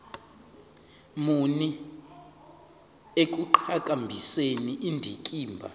muni ekuqhakambiseni indikimba